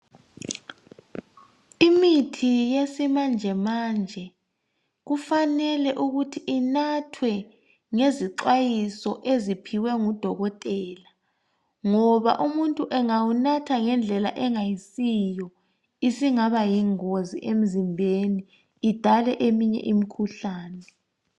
Imithi yesimanjemanje kufanele ukuthi inathwe ngezixwayiso eziphiwe ngudokotela ngoba umuntu engawunatha ngendlela engayisiyo isingaba yingozi emzimbeni idale eminye imikhuhlane.